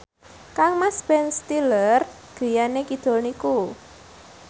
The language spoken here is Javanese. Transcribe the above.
kangmas Ben Stiller griyane kidul niku